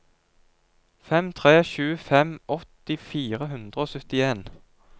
fem tre sju fem åtti fire hundre og syttien